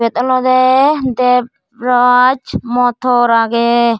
iyot olode bebraj motor agey.